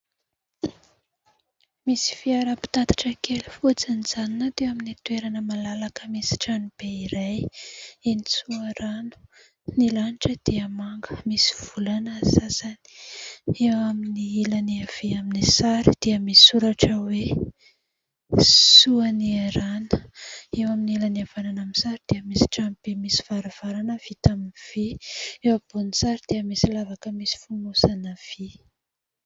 Misy fiara mpitatatra, kely, fotsy, mijanonana teo amin'ny toerana malalaka misy trano be iray, eny Soarano. Ny lanitra dia manga, misy volana ny sasany. Eo amin'ny ilany havia amin'ny sary dia misoratra hoe : soa niarahana. Eo amin'ny ilany havanana amin' ny sary dia misy trano be misy varavarana vita amin' ny vy. Eo ambonin' ny sary dia misy lavaka misy fonosana vy.